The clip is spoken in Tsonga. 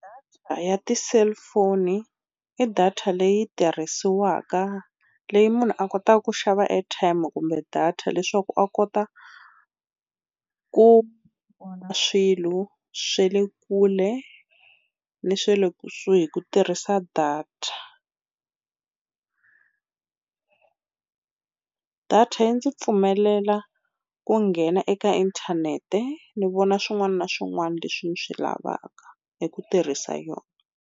Data ya ti-cellphone i data leyi tirhisiwaka leyi munhu a kotaka ku xava airtime kumbe data leswaku a kota ku vona swilo swa le kule ni swa le kusuhi hi ku tirhisa data. Data yi ndzi pfumelela ku nghena eka inthanete ni vona swin'wana na swin'wana leswi ndzi swi lavaka hi ku tirhisa yona.